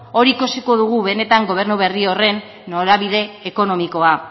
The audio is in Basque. hor ikusiko dugu benetan gobernu berri horren norabide ekonomikoa